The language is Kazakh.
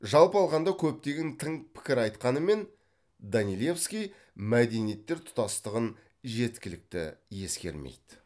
жалпы алғанда көптеген тың пікір айтқанымен данилевский мәдениеттер тұтастығын жеткілікті ескермейді